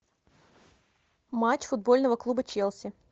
матч футбольного клуба челси